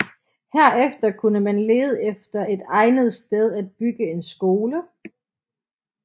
Herefter kunne man lede efter et egnet sted at bygge en skole